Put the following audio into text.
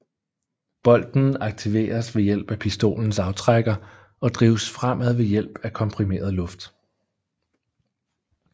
Bolten aktiveres ved hjælp af pistolens aftrækker og drives fremad ved hjælp af komprimeret luft